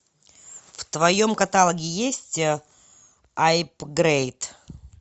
в твоем каталоге есть апгрейд